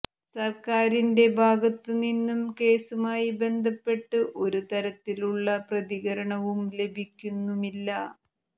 സര്ക്കാരിന്റെ ഭാഗത്ത് നിന്നും കേസുമായി ബന്ധപ്പെട്ട് ഒരു തരത്തിലുള്ള പ്രതികരണവും ലഭിക്കുന്നുമില്ല